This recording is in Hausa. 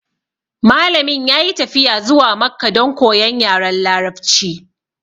Malamin ya yi tafiya zuwa makka don koyan yaren larabci